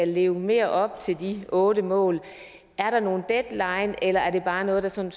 lever mere op til de otte mål er der nogen deadline eller er det bare noget der sådan